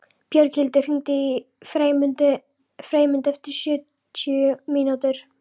Björghildur, hringdu í Freymund eftir sjötíu mínútur.